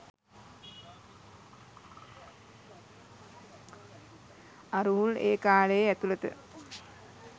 අරූල් ඒ කාලේ ඇතුළත